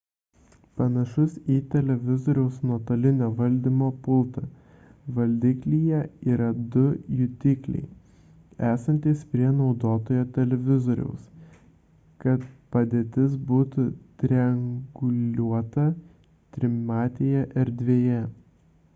panašus į televizoriaus nuotolinio valdymo pultą – valdiklyje yra du jutikliai esantys prie naudotojo televizoriaus kad padėtis būtų trianguliuota trimatėje erdvėje